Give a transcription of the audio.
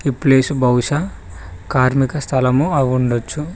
Place బహుశా కార్మీక స్థలం అయ్యిండచ్చు.